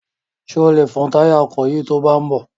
Ṣé o lè fun táyà ọkọ̀ yìí to bá ń bọ̀?